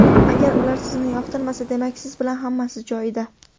Agar ular sizni yoqtirmasa, demak siz bilan hammasi joyida.